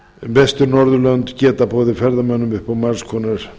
vestur norðurlönd geta boðið ferðamönnum upp á margs konar